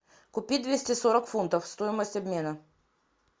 купить двести сорок фунтов стоимость обмена